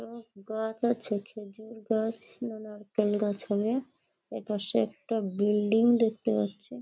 আর গাছ আছে। খেজুর গাছ বা নারকেল গাছ হবে। এপাশে একটা বিল্ডিং দেখতে পাচ্ছি।